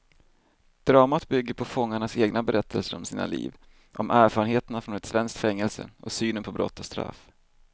Dramat bygger på fångarnas egna berättelser om sina liv, om erfarenheterna från ett svenskt fängelse och synen på brott och straff.